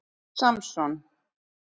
Samson